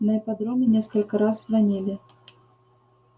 на ипподроме несколько раз звонили